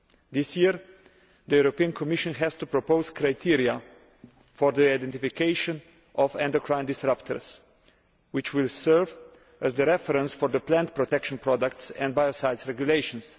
This year, the Commission has to propose criteria for the identification of endocrine disruptors, which will serve as the reference for the plant protection products and biocides regulations.